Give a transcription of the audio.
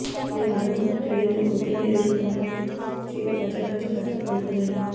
ఇలా ఆరంభ ట్రేడింగ్లో ఒత్తిడిని ఎదుర్కొన్న సూచీలు మధ్యాహ్నానికి కాస్త కోలుకున్నాయి